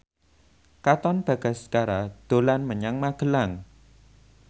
Katon Bagaskara dolan menyang Magelang